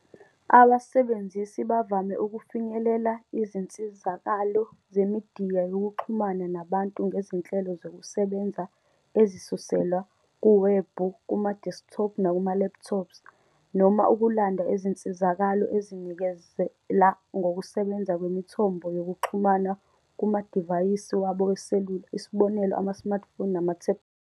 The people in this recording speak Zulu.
Abasebenzisi bavame ukufinyelela izinsizakalo zemidiya yokuxhumana nabantu ngezinhlelo zokusebenza ezisuselwa kuwebhu kumadeskithophu nakuma-laptops, noma ukulanda izinsizakalo ezinikezela ngokusebenza kwemithombo yezokuxhumana kumadivayisi wabo weselula, isb., Ama-smartphone namathebulethi.